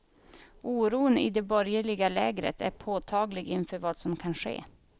Oron i det borgerliga lägret är påtaglig inför vad som kan ske.